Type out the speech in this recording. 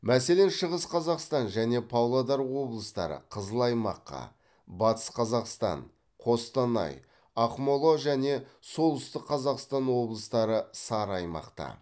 мәселен шығыс қазақстан және павлодар облыстары қызыл аймаққа батыс қазақстан қостанай ақмола және солтүстік қазақстан облыстары сары аймақта